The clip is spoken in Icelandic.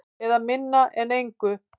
Eða minna en engu.